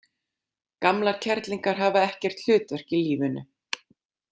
Gamlar kerlingar hafa ekkert hlutverk í lífinu.